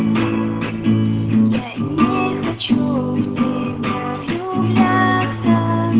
точим